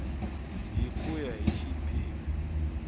hi ku ya hi xiphemu